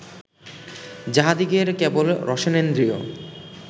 যাঁহাদিগের কেবল রসনেন্দ্রিয়